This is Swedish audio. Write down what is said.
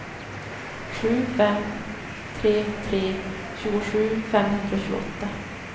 sju fem tre tre tjugosju femhundratjugoåtta